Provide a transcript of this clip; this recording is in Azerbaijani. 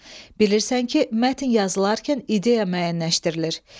Bilirsən ki, mətn yazılarkən ideya müəyyənləşdirilir.